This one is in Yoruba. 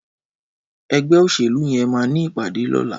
Ẹgbẹ óṣélú yèn mà ni ipàdé lọ̀là